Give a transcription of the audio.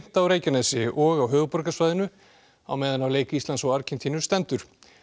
á Reykjanesi og höfuðborgarsvæðinu á meðan á leik Íslands og Argentínu stendur